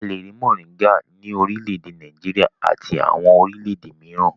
A le rí mòríngà ní orílẹ̀-èdè Nàìjíríà àti àwọn orílẹ̀-èdè mìíràn.